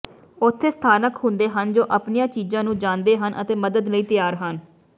ਉੱਥੇ ਸਥਾਨਕ ਹੁੰਦੇ ਹਨ ਜੋ ਆਪਣੀਆਂ ਚੀਜ਼ਾਂ ਨੂੰ ਜਾਣਦੇ ਹਨ ਅਤੇ ਮਦਦ ਲਈ ਤਿਆਰ ਹਨ